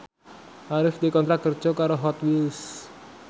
Arif dikontrak kerja karo Hot Wheels